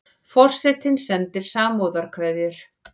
Forsetinn sendir samúðarkveðjur